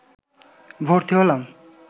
ভর্তি হলাম